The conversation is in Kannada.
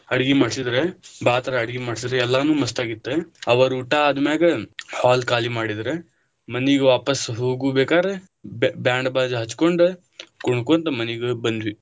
ಅಡಗಿ ಮಾಡಿಸಿದ್ರ, ಬಾಳ ತರ ಅಡಗಿ ಮಾಡಿಸಿದ್ರ ಎಲ್ಲಾನು ಮಸ್ತ ಆಗಿತ್ತ, ಅವರ ಊಟಾ ಅದ್ಮ್ಯಾಗ hall ಕಾಲಿ ಮಾಡಿದರ ಮನಿಗ ವಾಪಸ ಹೋಗುಬೇಕಾದ್ರ बैंड बाजा ಹಚ್ಕೊಂಡ ಕುಣಕೊಂತ ಮನಿಗ ಬಂದ್ವಿ.